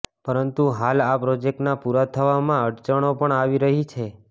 પરંતુ હાલ આ પ્રોજેક્ટના પુરા થવામાં અડચણો પણ આવી રહી છે